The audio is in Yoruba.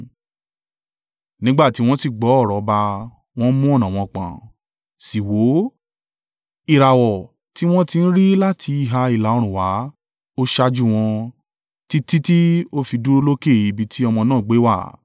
Nígbà tí wọ́n sì gbọ́ ọ̀rọ̀ ọba, wọ́n mú ọ̀nà wọn pọ̀n, sì wò ó, ìràwọ̀ tí wọ́n ti rí láti ìhà ìlà-oòrùn wá, ó ṣáájú wọn, títí tí ó fi dúró lókè ibi tí ọmọ náà gbé wà.